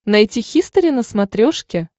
найти хистори на смотрешке